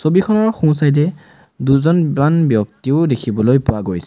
ছবিখনৰ সোঁচাইডে দুজনমান ব্যক্তিও দেখিবলৈ পোৱা গৈছে।